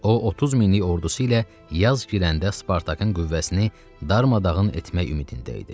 O 30 minlik ordusu ilə yaz girəndə Spartakın qüvvəsini darmadağın etmək ümidində idi.